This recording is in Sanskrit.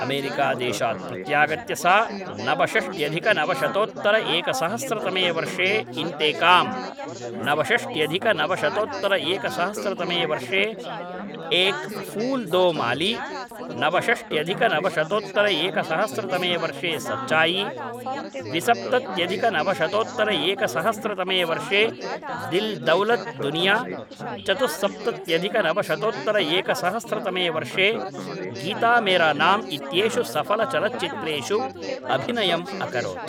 अमेरिकादेशात् प्रत्यागत्य सा नवषष्ट्यधिकनवशतोत्तरएकसहस्रतमे वर्षे इन्तेकाम्, नवषष्ट्यधिकनवशतोत्तरएकसहस्रतमे वर्षे एक् फूल् दो माली, नवषष्ट्यधिकनवशतोत्तरएकसहस्रतमे वर्षे सच्चायी, द्विसप्तत्यधिकनवशतोत्तरएकसहस्रतमे वर्षे दिल् दौलत् दुनिया, चतुस्सप्तत्यधिकनवशतोत्तरएकसहस्रतमे वर्षे गीता मेरा नाम् इत्येषु सफलचलच्चित्रेषु अभिनयम् अकरोत्